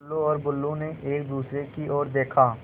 टुल्लु और बुल्लु ने एक दूसरे की ओर देखा